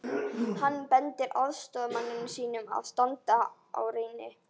Hann bendir aðstoðarmanni sínum að standa á rýni.